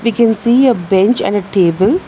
We can see a bench and a table.